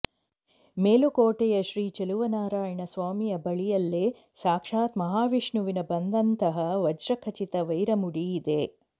ಮೇಲುಕೋಟೆಯ ಶ್ರೀ ಚೆಲುವನಾರಾಯಣ ಸ್ವಾಮಿಯ ಬಳಿಯಲ್ಲೇ ಸಾಕ್ಷಾತ್ ಮಹಾವಿಷ್ಣುವಿನ ಬಂದಂತಹ ವಜ್ರಖಚಿತ ವೈರಮುಡಿ ಇದೆ